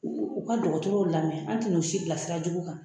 U ka dɔgɔtɔrɔw lamɛn an tɛna u si bila sira jugu kan